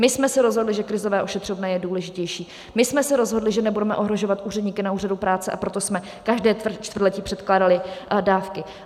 My jsme se rozhodli, že krizové ošetřovné je důležitější, my jsme se rozhodli, že nebudeme ohrožovat úředníky na úřadu práce, a proto jsme každé čtvrtletí předkládali dávky.